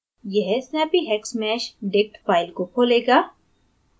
यह snappyhexmeshdict file को खोलेगा